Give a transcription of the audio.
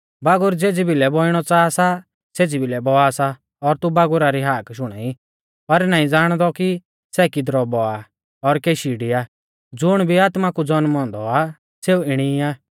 बागुर ज़ेज़ी भिलै बौइणौ च़ाहा सा सेज़ी भिलै बौआ सा और तू बागुरा री हाक शुणाई पर नाईं ज़ाणदौ कि सै किदरौ बौआ और केशी डिया ज़ुण भी आत्मा कु ज़न्मौ औन्दौ आ सेऊ इणी ई आ